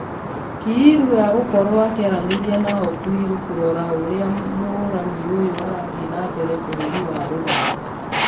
Kiilu agũkorwo akĩaranĩria na okwiri kũrora ũrĩa mũhũrani ũyũ arathie na mbere bũrũri wa rũraya.